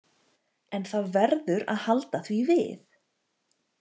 En það verður að halda því við.